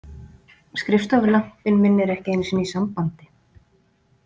Skrifstofulampinn minn er ekki einu sinni í sambandi.